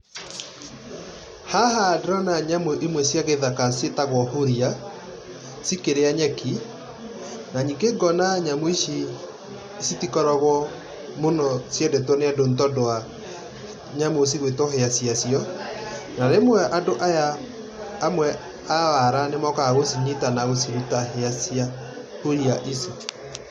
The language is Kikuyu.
Haha ndĩrona nyamũ imwe cia gĩthaka ciĩtagwo huria, cikĩrĩa nyeki na ningĩ ngona nyamũ ici citikoragwo mũno ciendetwo nĩ andũ nĩtondũ wa nyamũ cigũĩtwo hĩa ciacio na rĩmwe andũ aya amwe a wala nĩmokaga gũcinyita na gũciruta hĩa cia huria ici.